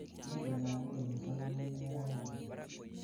Itondap koristo koune raini beet